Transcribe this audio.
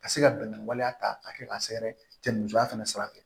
Ka se ka bɛn ni waleya ta k'a kɛ k'a sɛgɛrɛ cɛ musoya fana sira fɛ